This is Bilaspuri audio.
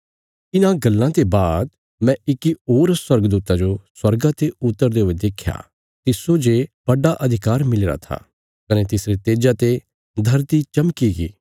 इन्हां गल्लां ते बाद मैं इक्की होर स्वर्गदूता जो स्वर्गा ते उतरदे हुये देख्या तिस्सो जे बड्डा अधिकार मिलीरा था कने तिसरे तेजा ते धरती चमकीगी